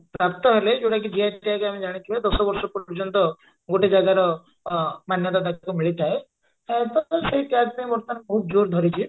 ପ୍ରାପ୍ତ ହେଲେ ଯଉଟା କି GI tag ଆମେ ଜାଣିଥିବା ଦଶ ବର୍ଷ ପର୍ଯ୍ୟନ୍ତ ଗୋଟେ ଜାଗାର ଅ ମାନ୍ୟତା ତାକୁ ମିଳିଥାଏ ଆଉ ତ ସେଇ tag ପାଇଁ ବର୍ତମାନ ବହୁତ ଯୋର ଧରିଛି